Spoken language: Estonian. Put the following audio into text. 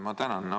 Ma tänan!